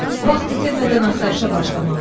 Vaxt itirmədən axtarışa başlamalıyıq.